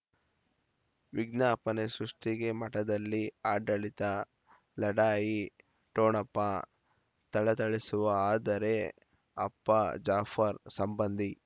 ವಿಜ್ಞಾಪನೆ ಸೃಷ್ಟಿಗೆ ಮಠದಲ್ಲಿ ಆಡಳಿತ ಲಢಾಯಿ ಠೊಣಪ ಥಳಥಳಿಸುವ ಆದರೆ ಅಪ್ಪ ಜಾಫರ್ ಸಂಬಂಧಿ